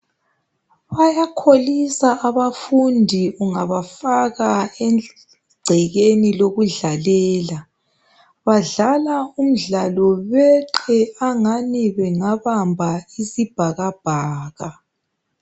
Bayakholisa abafundi ungabafaka egcekeni lokudlalela badlala umdlalo beqe angani bengabamba isibhakabhaka